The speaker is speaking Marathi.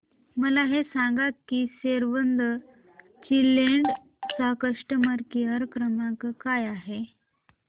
मला हे सांग की सेव्ह द चिल्ड्रेन चा कस्टमर केअर क्रमांक काय आहे